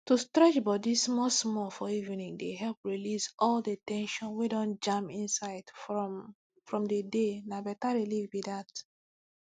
to stretch body smallsmall for evening dey help release all the ten sion wey don jam inside from from the dayna better relief be that